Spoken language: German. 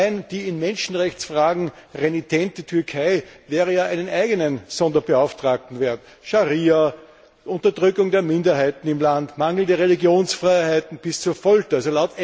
Allein die in Menschenrechtsfragen renitente Türkei wäre ja einen eigenen Sonderbeauftragten wert Scharia, Unterdrückung der Minderheiten im Land, mangelnde Religionsfreiheit, bis hin zu Folter.